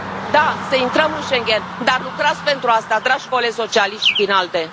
Da, să intrăm în Schengen, dar lucrați pentru asta, dragi colegi socialiști și din ALDE.